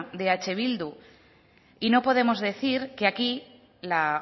de eh bildu y no podemos decir que aquí la